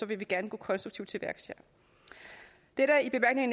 vil vi gerne gå konstruktivt til værks